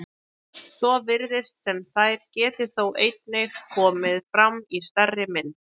Svo virðist sem þær geti þó einnig komið fram í stærri mynd.